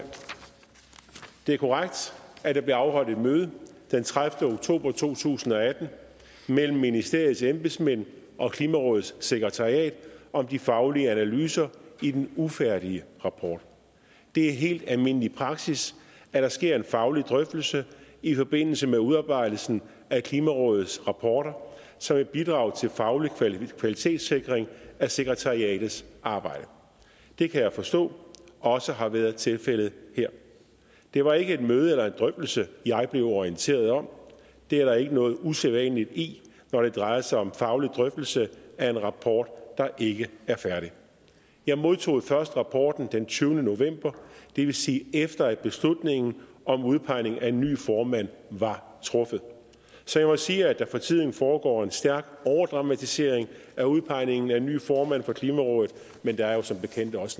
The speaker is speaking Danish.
det er korrekt at der blev afholdt et møde den tredivete oktober to tusind og atten mellem ministeriets embedsmænd og klimarådets sekretariat om de faglige analyser i den ufærdige rapport det er helt almindelig praksis at der sker en faglig drøftelse i forbindelse med udarbejdelsen af klimarådets rapporter som et bidrag til faglig kvalitetssikring af sekretariatets arbejde det kan jeg forstå også har været tilfældet her det var ikke et møde eller en drøftelse jeg blev orienteret om det er der ikke noget usædvanligt i når det drejer sig om en faglig drøftelse af en rapport der ikke er færdig jeg modtog først rapporten den tyvende november det vil sige efter at beslutningen om udpegning af en ny formand var truffet så jeg må sige at der for tiden foregår en stærk overdramatisering af udpegningen af en ny formand for klimarådet men der er jo som bekendt også